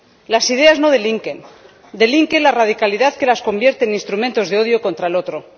Las ideas no delinquen, delinque la radicalidad, que las convierte en instrumentos de odio contra el otro.